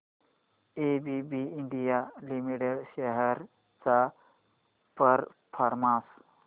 ABB India limited shares चा performance